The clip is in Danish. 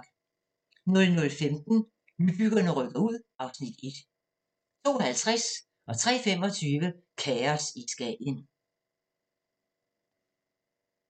00:15: Nybyggerne rykker ud (Afs. 1) 02:50: Kaos i Skagen 03:25: Kaos i Skagen